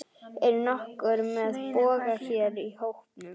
Er nokkur með boga hér í hópnum?